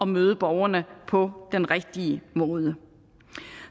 møde borgerne på den rigtige måde